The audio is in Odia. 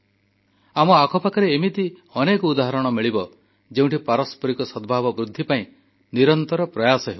ଆମ ଆଖପାଖରେ ଏମିତି ଅନେକ ଉଦାହରଣ ମିଳିବ ଯେଉଁଠି ପାରସ୍ପରିକ ସଦ୍ଭାବ ବୃଦ୍ଧି ପାଇଁ ନିରନ୍ତର ପ୍ରୟାସ ହେଉଛି